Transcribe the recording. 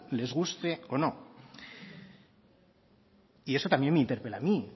les guste o no y eso también me interpela a mí